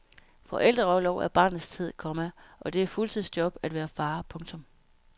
Forældreorlov er barnets tid, komma og det er et fuldtidsjob at være far. punktum